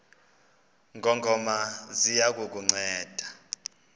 ngongoma ziya kukunceda